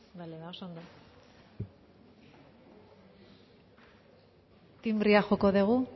bale ba oso ondo tinbrea joko dugu